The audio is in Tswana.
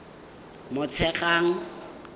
motshegang